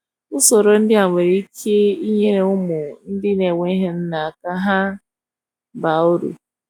usọrọ ndi a nwere ike nyere ụmụ ndi na enweghi nna ka ha baa ụrụ